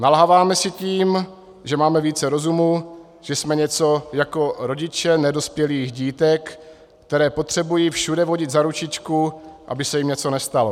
Nalháváme si tím, že máme více rozumu, že jsme něco jako rodiče nedospělých dítek, která potřebují všude vodit za ručičku, aby se jim něco nestalo.